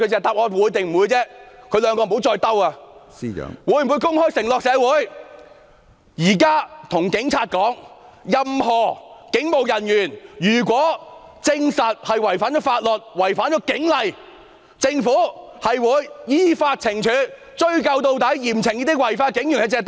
他們會否公開對社會作出承諾，現在對警察說，如果證實任何警務人員違反法律或警例，政府會依法懲處，追究到底，嚴懲這些違法的警員？